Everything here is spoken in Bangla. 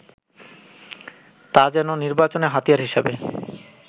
তা যেন নির্বাচনের হাতিয়ার হিসেবে